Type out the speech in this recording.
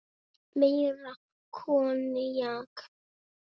Meira koníak?